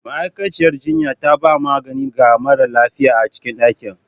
Ma'aikaciyar jinya ta ba da magani ga mara lafiyar a cikin dakin.